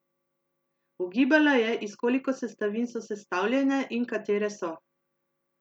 Ugibala je, iz koliko sestavin so sestavljene in katere so.